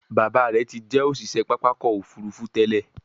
Bàbá rẹ tí jé òṣiṣẹ pápá ọkọ̀-òfurufú tèlé.